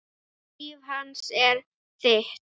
Líf hans er þitt.